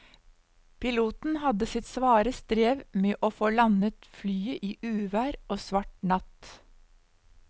Piloten hadde sitt svare strev med å få landet flyet i uvær og svart natt.